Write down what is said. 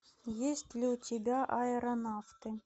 есть ли у тебя аэронавты